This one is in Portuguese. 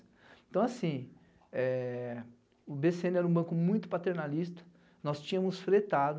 Então assim, eh... o bê cê ene era um banco muito paternalista, nós tínhamos fretado,